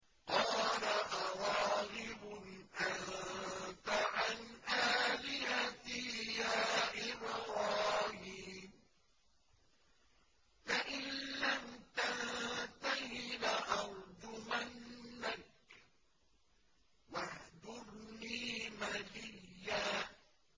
قَالَ أَرَاغِبٌ أَنتَ عَنْ آلِهَتِي يَا إِبْرَاهِيمُ ۖ لَئِن لَّمْ تَنتَهِ لَأَرْجُمَنَّكَ ۖ وَاهْجُرْنِي مَلِيًّا